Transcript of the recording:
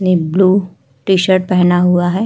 ने blue t shirt पहना हुआ है।